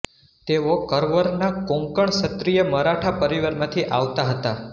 તેઓ કરવરના કોંકણ ક્ષત્રિય મરાઠા પરિવારમાંથી આવતા હતા